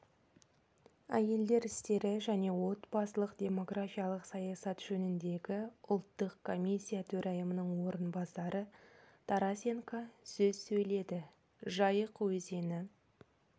әйелдер істері және отбасылық-демографиялық саясат жөніндегі ұлттық комиссия төрайымының орынбасары тарасенко сөз сөйледі жайық өзені